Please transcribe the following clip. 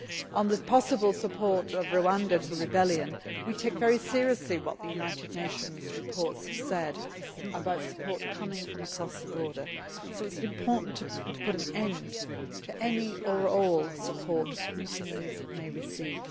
On the possible support of Rwanda to the rebellion, we take very seriously what the United Nations reports have said about support coming from across the border, so it is important to put an end to any or all support mutinies may receive.